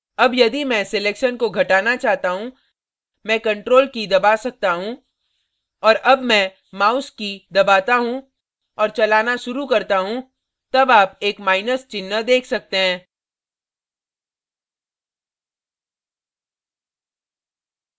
अब यदि मैं selection को घटाना चाहता हूँ मैं ctrl की key दबा सकता हूँ और अब मैं mouse की key दबाता हूँ और चलाना शुरू करता हूँ तब आप एक माइनस चिन्ह देख सकते हैं